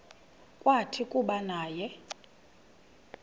kwathi kuba naye